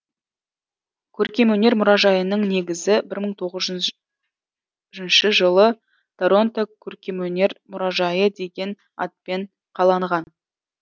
көркемөнер мұражайының негізі мың тоғызыншы жылы торонто көркемөнер мұражайы деген атпен қаланған